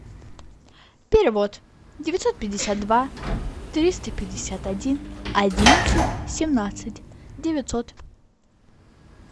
перевод девятьсот пятьдесят два триста пятьдесят один одиннадцать семнадцать девятьсот